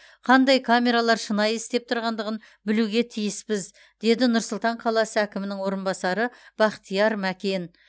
қандай камералар шынайы істеп тұрғандығын білуге тиіспіз деді нұр сұлтан қаласы әкімінің орынбасары бақтияр мәкен